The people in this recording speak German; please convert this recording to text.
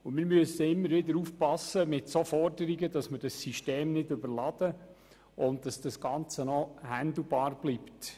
Bei solchen Forderungen müssen wir immer wieder aufpassen, dass wir das System nicht überladen und dass das Ganze noch handhabbar bleibt.